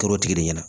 Kɛra o tigi de ɲɛna